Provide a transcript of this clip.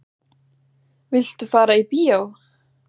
Viltu fara í bíó?